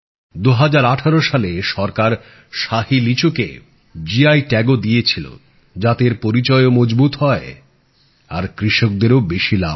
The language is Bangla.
২০১৮ সালে সরকার শাহী লিচুকে জিআই ট্যাগও দিয়েছিল যাতে এর পরিচয় ও মজবুত হয় আর কৃষকদেরও বেশি লাভ হয়